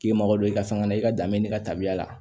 K'i mago don i ka san na i ka danbe ka taabiya la